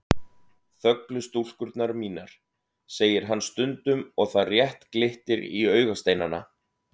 Þöglu stúlkurnar mínar, segir hann stundum og það rétt glittir í augasteinana.